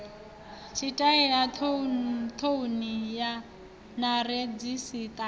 tshitaela thouni na redzhisiṱara a